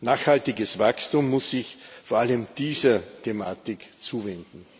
Nachhaltiges Wachstum muss sich vor allem dieser Thematik zuwenden.